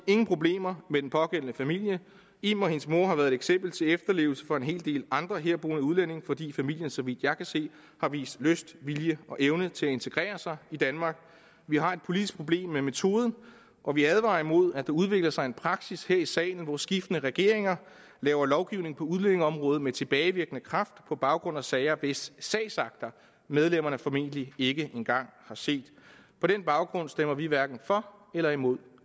ingen problemer med den pågældende familie im og hendes mor har været et eksempel til efterlevelse for en hel del andre herboende udlændinge fordi familien så vidt jeg kan se har vist lyst vilje og evne til at integrere sig i danmark vi har et politisk problem med metoden og vi advarer imod at der udvikler sig en praksis her i salen hvor skiftende regeringer laver lovgivning på udlændingeområdet med tilbagevirkende kraft på baggrund af sager hvis sagsakter medlemmerne formentlig ikke engang har set på den baggrund stemmer vi hverken for eller imod